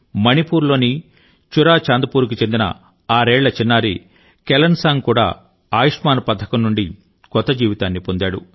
మణిపూర్ లోని Churachandpur కు చెందిన ఆరేళ్ల చిన్నారి కెలెన్సాంగ్ కూడా ఆయుష్మాన్ పథకం నుండి కొత్త జీవితాన్ని పొందాడు